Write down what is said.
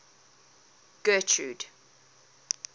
getrude